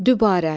Dübarə.